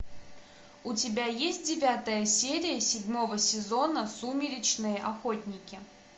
у тебя есть девятая серия седьмого сезона сумеречные охотники